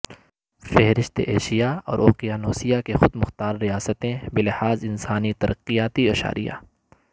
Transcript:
فہرست ایشیا اور اوقیانوسیہ کی خود مختار ریاستیں بلحاظ انسانی ترقیاتی اشاریہ